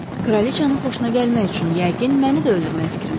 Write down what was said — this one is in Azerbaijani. Kraliçanın xoşuna gəlmək üçün yəqin məni də öldürmək fikrindəsiz.